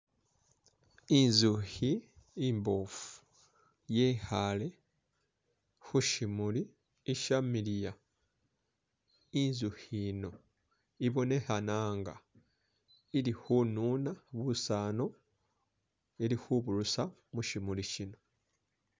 Inzukhi imbofu yekhaale khu syimuli ishamiliya. Inzukhi yino ibonekhana nga ili khununa busanu ili khuburusa mu syimuli syino